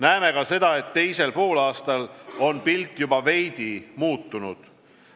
Näeme ka seda, et teisel poolaastal on pilt juba veidi muutunud.